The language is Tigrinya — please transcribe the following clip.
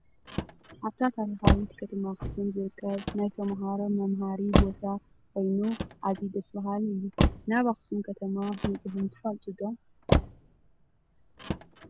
ኣብታ ታሪካዊት ከተማ ኣክሱም ዝርከብ ናይ ተማህሮ መምሃሪ ቦታ ኮይኑኣዝዩደስ ብሃሊ እዩ ። ናብ ኣክሱም ከተማ መፂእኩም ዶ ትፈልጡ ?